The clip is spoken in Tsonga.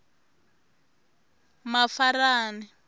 mafarani